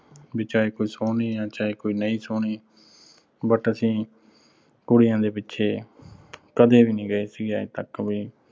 ਵੀ ਚਾਹੇ ਕੋਈ ਸੋਹਣੀ ਆ, ਚਾਹੇ ਕੋਈ ਨਹੀਂ ਸੋਹਣੀ but ਅਸੀਂ ਕੁੜੀਆਂ ਦੇ ਪਿੱਛੇ ਕਦੇ ਵੀ ਨੀਂ ਗਏ ਸੀਗੇ ਅੱਜ ਤੱਕ ਵੀ